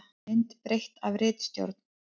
Mynd breytt af ritstjórn.